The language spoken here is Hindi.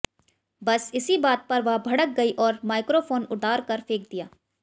बस इसी बात पर वह भड़क गईं और माइक्रोफोन उतारकर फेंक दिया